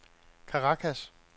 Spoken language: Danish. Caracas